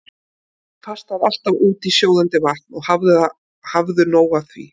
Settu pastað alltaf út í sjóðandi vatn og hafðu nóg af því.